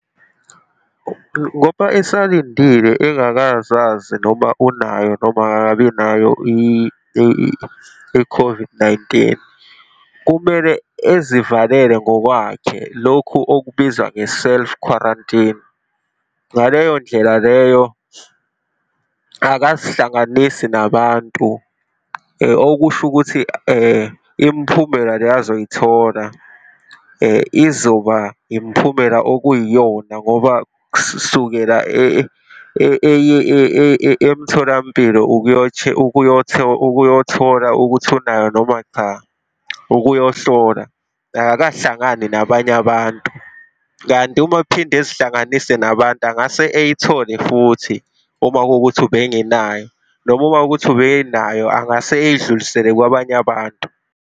Ngoba esalindile engakazazi noma unayo noma akakabinayo i-COVID-19, kumele ezivalele ngokwakhe, lokhu okubizwa nge-self quarantine. Ngaleyo ndlela leyo akazihlanganisi nabantu, okusho ukuthi imphumela le azoyithola izoba imphumela okuyiyona ngoba kusukela eye emtholampilo ukuyothola ukuthi unayo noma cha, ukuyohlolwa, akakahlangani nabanye abantu, kanti uma ephinda ezihlanganise nabantu angase ayithole futhi uma kuwukuthi ubengenayo, noma uma kuwukuthi ubenayo angase ayidlulisele kwabanye abantu.